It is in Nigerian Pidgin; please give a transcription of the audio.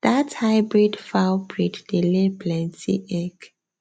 that hybrid fowl breed dey lay plenty egg